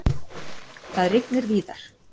Það rignir víðar.